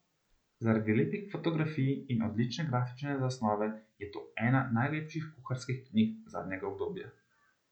Zaradi lepih fotografij in odlične grafične zasnove je to ena najlepših kuharskih knjig zadnjega obdobja.